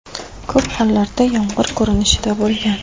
Ko‘p hollarda yomg‘ir ko‘rinishida bo‘lgan.